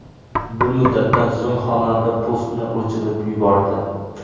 Bir muddatdan so‘ng xonanda postni o‘chirib yubordi.